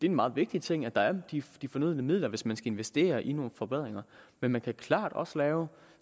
en meget vigtig ting at der er de de fornødne midler hvis man skal investere i nogle forbedringer men man kan klart også lave